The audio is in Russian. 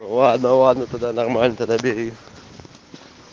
ладно ладно тогда нормально тогда бери